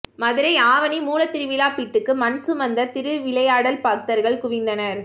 மதுரை ஆவணி மூலத்திருவிழா பிட்டுக்கு மண் சுமந்த திருவிளையாடல் பக்தர்கள் குவிந்தனர்